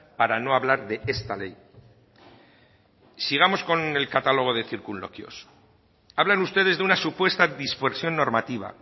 para no hablar de esta ley sigamos con el catálogo de circunloquios hablan ustedes de una supuesta dispersión normativa